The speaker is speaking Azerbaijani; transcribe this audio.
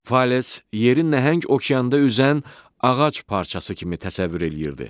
Fales yerin nəhəng okeanda üzən ağac parçası kimi təsəvvür eləyirdi.